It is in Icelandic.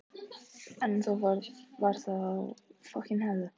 En þetta var þó í áttina.